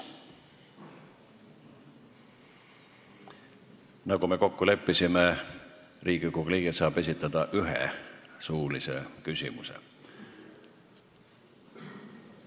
Nagu me kokku leppisime, Riigikogu liige saab esitada ühe suulise küsimuse.